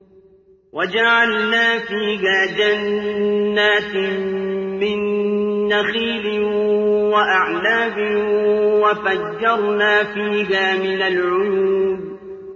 وَجَعَلْنَا فِيهَا جَنَّاتٍ مِّن نَّخِيلٍ وَأَعْنَابٍ وَفَجَّرْنَا فِيهَا مِنَ الْعُيُونِ